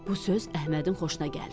Bu söz Əhmədin xoşuna gəldi.